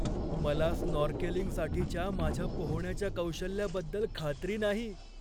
मला स्नॉर्केलिंगसाठीच्या माझ्या पोहण्याच्या कौशल्याबद्दल खात्री नाही.